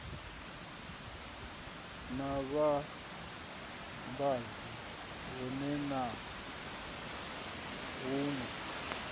na vhavhambadzi huwe na huwe